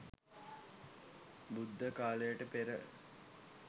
බුද්ධ කාලයට පෙර